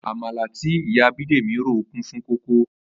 Àmàlà tí ìyá Bídèmí rò kún fún kókó